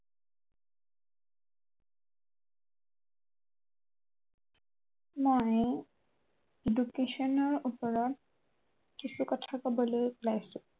মই education ৰ ওপৰত কিছু কথা কবলৈ উলাইছো